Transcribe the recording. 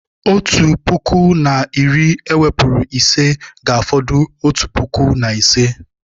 Otu puku na iri ewepụrụ ise, ga-afọdụ otu puku na ise